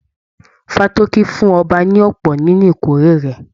Fátókí fún ọba ní ọpọ nínú ìkórè rẹ.